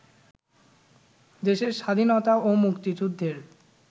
দেশের স্বাধীনতা ও মুক্তিযুদ্ধের